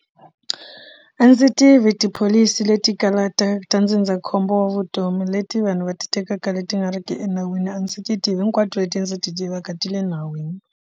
A ndzi tivi tipholisi leti kalaka ta ndzindzakhombo wa vutomi leti vanhu va ti tekaka leti nga ri ki enawini a ndzi ti tivi hinkwato leti ndzi ti tivaka ti le nawini.